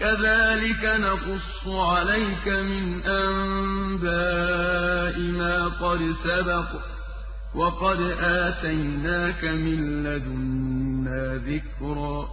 كَذَٰلِكَ نَقُصُّ عَلَيْكَ مِنْ أَنبَاءِ مَا قَدْ سَبَقَ ۚ وَقَدْ آتَيْنَاكَ مِن لَّدُنَّا ذِكْرًا